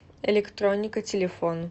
электроника телефон